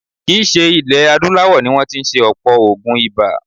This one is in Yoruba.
Kì í ṣe ilẹ̀ adúláwọ̀ ni wọ́n tí ń ṣe ọ̀pọ̀ oògùn ibà.